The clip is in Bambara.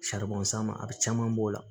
sama a bi caman b'o la